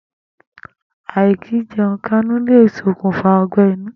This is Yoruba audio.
Àì̀kìíje̩un-káńú le sokùnfà ó̩gbé̩-inú.